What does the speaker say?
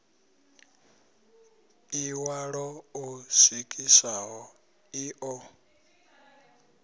ḽiṋwalo ḽo swikiswaho ḽi ḓo